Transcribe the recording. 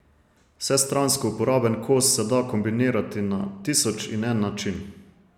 Vsestransko uporaben kos se da kombinirati na tisoč in en način.